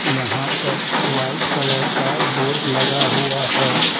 यहां पर white colour का बोर्ड लगा हुआ है।